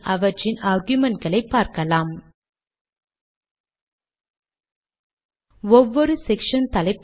இது அடைக்குறிகளின் நடுவே காண்கிறது